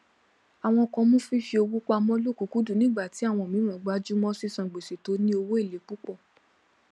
àwọn kan mú fífi owó pamọ lọkùkúndùn nígbà tí àwọn mìíràn gbájúmọ sísan gbèsè tó ní owó èlé púpọ